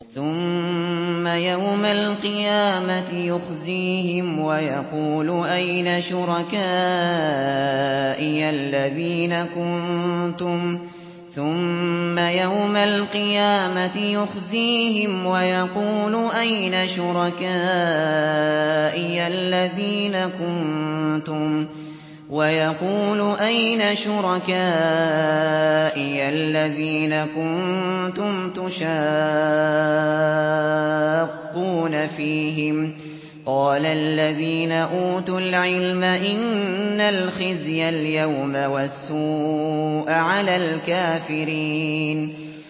ثُمَّ يَوْمَ الْقِيَامَةِ يُخْزِيهِمْ وَيَقُولُ أَيْنَ شُرَكَائِيَ الَّذِينَ كُنتُمْ تُشَاقُّونَ فِيهِمْ ۚ قَالَ الَّذِينَ أُوتُوا الْعِلْمَ إِنَّ الْخِزْيَ الْيَوْمَ وَالسُّوءَ عَلَى الْكَافِرِينَ